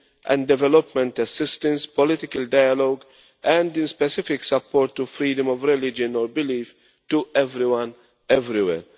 and development assistance, political dialogue, and in specific support to freedom of religion or belief to everyone everywhere.